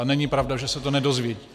A není pravda, že se to nedozvědí.